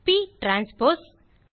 ப் டிரான்ஸ்போஸ்